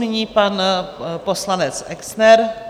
Nyní pan poslanec Exner.